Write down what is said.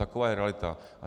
Taková je realita.